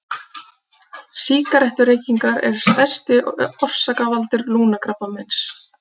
Sígarettureykingar er stærsti orsakavaldur lungnakrabbameins.